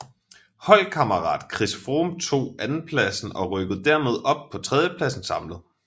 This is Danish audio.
Holdkammerat Chris Froome tog andenpladsen og rykkede dermed op på tredjepladsen samlet